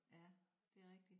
Ja det rigtigt